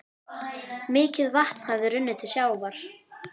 Mikið vatn hafði runnið til sjávar.